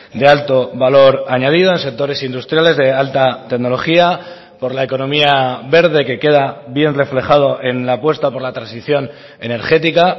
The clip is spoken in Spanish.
de alto valor añadido en sectores industriales de alta tecnología por la economía verde que queda bien reflejado en la apuesta por la transición energética